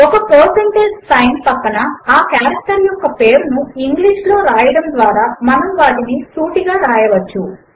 ఒక percentage sign ప్రక్కన ఆ కారెక్టర్ యొక్క పేరును ఇంగ్లీష్ లో వ్రాయడము ద్వారా మనము వాటిని సూటిగా వ్రాయవచ్చు